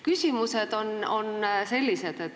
Küsimused on sellised.